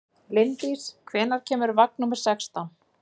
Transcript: Linddís, hvenær kemur vagn númer sextán?